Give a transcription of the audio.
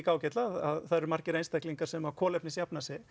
ágætlega að það eru margir einstaklingar sem kolefnisjafna sig